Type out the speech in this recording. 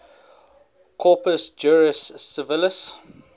corpus juris civilis